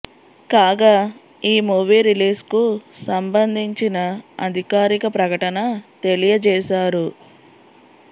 కాగా ఈ movie release కు సంబందించిన అధికారిక ప్రకటన తెలియజేసారు